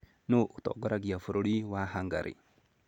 Nũũ ũtongoragia bũrũri wa Hungary?